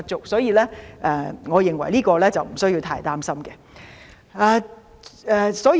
所以，我認為這方面不需要太擔心。